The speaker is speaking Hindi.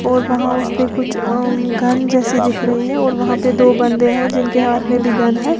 और वहां उस पे कुछ अम्म गन जैसी दिख रही है और वहां पे दो बंदे हैं जिनके हाथ में भी गन है।